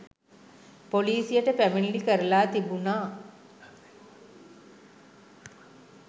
පොලිසියට පැමිණිලි කරලා තිබුණා.